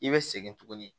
I bɛ segin tuguni